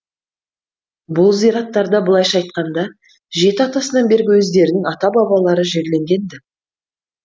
бұл зираттарда былайша айтқанда жеті атасынан бергі өздерінің ата бабалары жерленген ді